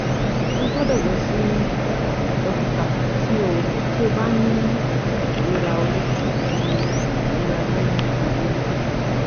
O gbọdọ lọ si dokita ti o ti o ba ni irora ori ati irora ni gbogbo oju